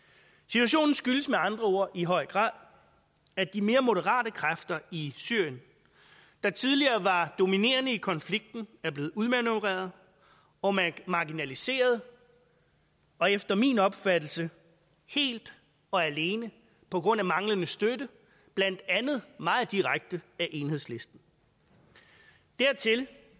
situationen skyldes med andre ord i høj grad at de mere moderate kræfter i syrien der tidligere var dominerende i konflikten er blevet udmanøvreret og marginaliseret og efter min opfattelse helt og alene på grund af manglende støtte blandt andet meget direkte enhedslisten dertil